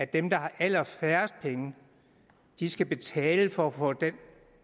dem der har allerfærrest penge skal betale for at få den